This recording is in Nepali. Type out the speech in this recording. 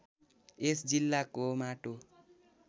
यस जिल्लाको माटो